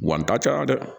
Wa n ta cayara dɛ